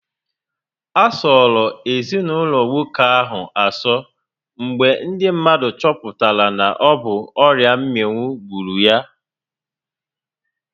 A sọrọ ezinaụlọ nwoke ahụ asọ mgbe ndị mmadụ choputara na ọ bụ ọrịa mminwu gburu ya